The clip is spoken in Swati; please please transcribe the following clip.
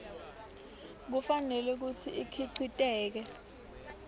kufanele kutsi ikhiciteke